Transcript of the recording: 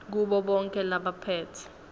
kubo bonkhe labaphetse